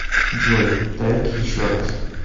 джой трек еще раз